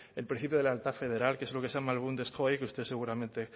el principio de la lealtad federal que es lo que se llama bundes que usted seguramente